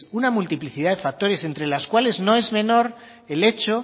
una multiplicidad de factores entre las cuales no es menor el hecho